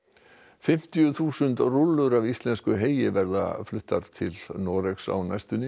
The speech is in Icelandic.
fimmtíu þúsund rúllur af íslensku heyi verða fluttar til Noregs á næstunni